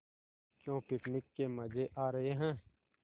क्यों पिकनिक के मज़े आ रहे हैं